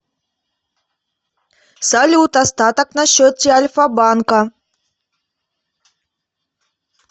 салют остаток на счете альфа банка